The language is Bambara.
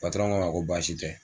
Patɔrɔn k'a ma ko baasi tɛ.